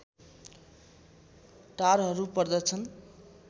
टारहरू पर्दछन्